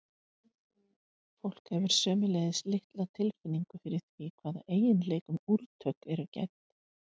fólk hefur sömuleiðis litla tilfinningu fyrir því hvaða eiginleikum úrtök eru gædd